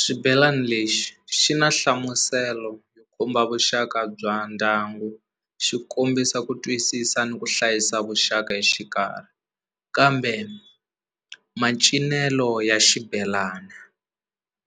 Xibelani lexi xi na nhlamuselo komba vuxaka bya ndyangu xi kombisa ku twisisa ni ku hlayisa vuxaka exikarhi kambe macinelo ya xibelani